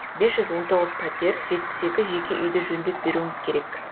бес жүз он тоғыз пәтер жетпіс екі жеке үйді жөндеп беруіміз керек